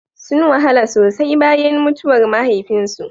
Sun wahala sosai bayan mutuwar mahaifinsu.